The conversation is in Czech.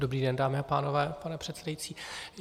Dobrý den, dámy a pánové, pane předsedající.